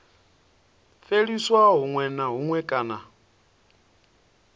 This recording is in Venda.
fheliswa huṅwe na huṅwe kana